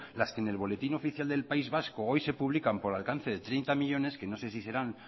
las que en el boletín oficial del país vasco hoy de publican por alcance de treinta millónes que no sé si serán